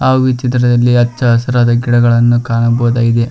ಹಾಗು ಈ ಚಿತ್ರದಲ್ಲಿ ಹಚ್ಚ ಹಸಿರಾದ ಗಿಡಗಳನ್ನು ಕಾಣಬಹುದಾಗಿದೆ.